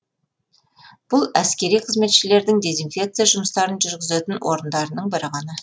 бұл әскери қызметшілердің дезинфекция жұмыстарын жүргізетін орындарының бірі ғана